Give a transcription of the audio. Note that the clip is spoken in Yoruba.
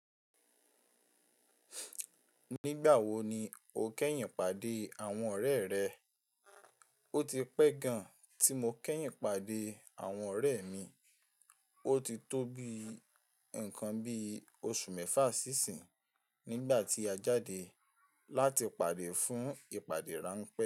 Nígbà wo ni o lo pàdé àwọn ọ̀rẹ́ rẹ? O ti pẹ́ gan tí mo kẹ́yìn pàdé àwọn ọ̀rẹ́ mi. O ti tó bí nǹkan bí oṣù mẹ́fà sí seyin nígbà tí a jáde láti pàdé fún ìpàdé ráńpẹ́